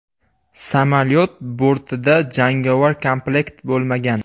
Samolyot bortida jangovar komplekt bo‘lmagan.